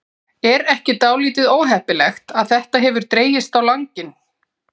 Er ekki dálítið óheppilegt hvað þetta hefur dregist á langinn?